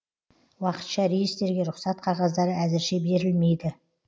уақытша рейстерге рұқсат қағаздары әзірше берілмейді